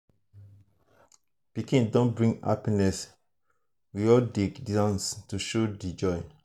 pikin don bring happiness we all dey dance to show di joy.